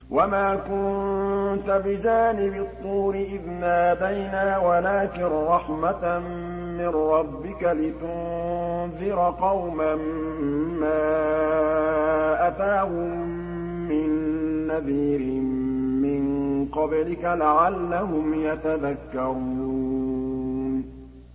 وَمَا كُنتَ بِجَانِبِ الطُّورِ إِذْ نَادَيْنَا وَلَٰكِن رَّحْمَةً مِّن رَّبِّكَ لِتُنذِرَ قَوْمًا مَّا أَتَاهُم مِّن نَّذِيرٍ مِّن قَبْلِكَ لَعَلَّهُمْ يَتَذَكَّرُونَ